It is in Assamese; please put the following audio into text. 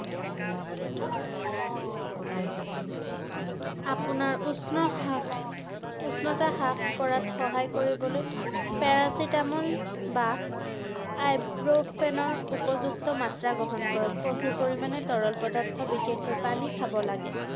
আপোনাৰ উষ্ণ হ্ৰাস~ উষ্ণতা হ্ৰাস কৰাত সহায় কৰিবলৈ paracetamol বা ibuprofen ৰ উপযুক্ত মাত্ৰা গ্ৰহণ কৰক ৷ প্ৰচুৰ পৰিমাণে তৰল পদাৰ্থ বিশেষকৈ পানী খাব লাগে ৷